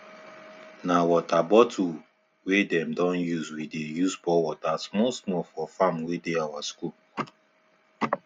na water bottle wey them don usewe dey use pour water small small for farm wey dey our school